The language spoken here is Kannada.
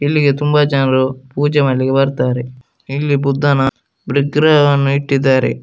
ಇಲ್ಲಿಗೆ ತುಂಬಾ ಜನಗಳು ಪೂಜೆ ಮಾಡ್ಲಿಕ್ಕೆ ಬರತ್ತರೆ ಇಲ್ಲಿ ಬುದ್ಧನ ವಿಗ್ರಹವನ್ನು ಇಟ್ಟಿದ್ದಾರೆ.